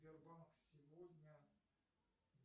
сбербанк сегодня